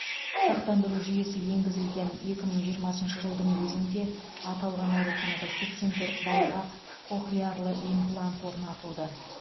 сақтандыру жүйесі енгізілген екі мың жиырмасыншы жылдың өзінде аталған ауруханада сексен төрт балаға кохлеарлы имплант орнатылды